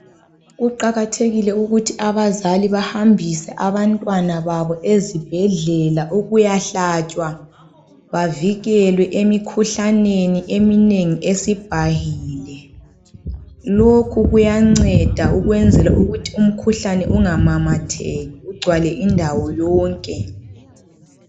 Kuqakathekile ukuthi abazali bahambise abantwana babo ezibhedlela ukuyahlatshwa bavikelwe emikhuhlaneni eminengi esibhahile. Lokhu kuyanceda ukwenzela ukuthi umkhuhlane ungamamatheki ugcwale indawo yonke.